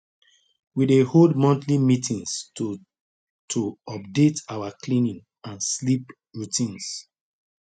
we dey hold monthly meetings to to update our cleaning and sleep routines